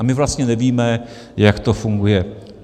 A my vlastně nevíme, jak to funguje.